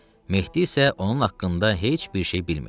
Mehdi isə onun haqqında heç bir şey bilmir.